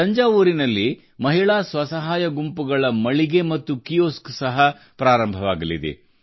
ತಂಜಾವೂರಿನಲ್ಲಿ ಮಹಿಳಾ ಸ್ವಸಹಾಯ ಗುಂಪುಗಳ ಮಳಿಗೆ ಮತ್ತು ಕಿಯೋಸ್ಕ್ ಸಹ ಪ್ರಾರಂಭವಾಗಲಿದೆ